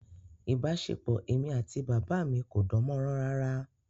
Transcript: Ìbáṣepọ̀ èmi àti bàbá mi kò dán mọ́rán rárá